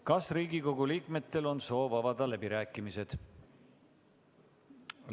Kas Riigikogu liikmetel on soov avada läbirääkimised?